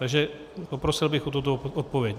Takže poprosil bych o tuto odpověď.